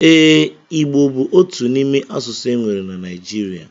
Eee, igbo bu otu imé asụsụ enwere na Naijiria.